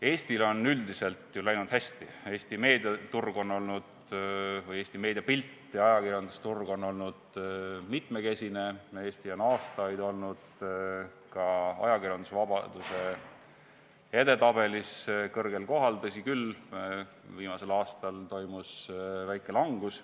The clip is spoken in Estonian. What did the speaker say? Eestil on üldiselt ju läinud hästi, Eesti meediapilt ja ajakirjandusturg on olnud mitmekesine, Eesti on aastaid olnud ka ajakirjandusvabaduse edetabelis kõrgel kohal, tõsi küll, viimasel aastal toimus väike langus.